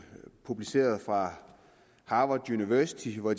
publiceret fra harvard university hvor